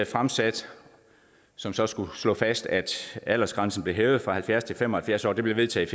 fremsat som så skulle slå fast at aldersgrænsen blev hævet fra halvfjerds år til fem og halvfjerds år det blev vedtaget